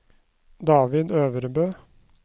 David Øvrebø